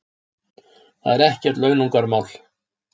Það er ekkert launungarmál.